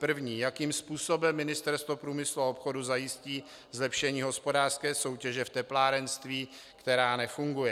První: Jakým způsobem Ministerstvo průmyslu a obchodu zajistí zlepšení hospodářské soutěže v teplárenství, která nefunguje?